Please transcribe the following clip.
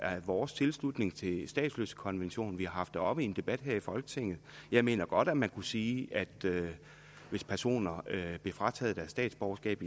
vores tilslutning til statsløsekonventionen vi har haft det oppe i en debat her i folketinget jeg mener godt at man kunne sige at hvis personer bliver frataget deres statsborgerskab